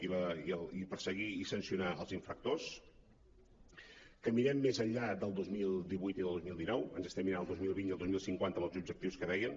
i perseguir i sancionar els infractors que mirem més enllà del dos mil divuit i del dos mil dinou ens estem mirant el dos mil vint i el dos mil cinquanta amb els objectius que dèiem